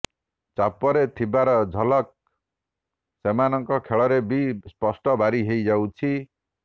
ଚାପରେ ଥିବାର ଝଲକ ସେମାନଙ୍କ ଖେଳରେ ବି ସ୍ପଷ୍ଟ ବାରି ହୋଇଯାଉଛି